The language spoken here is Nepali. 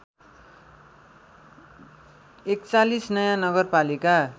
४१ नयाँ नगरपालिका